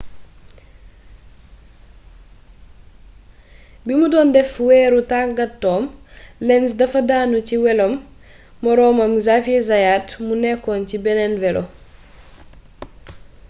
ba mu doon def wëru tàngaatoom lenz dafa daanu ci weloom moroomam xavier zayat mu nekkoon ci beneen welo